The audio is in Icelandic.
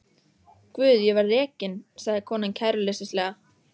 Guð ég verð rekin, sagði konan kæruleysislega.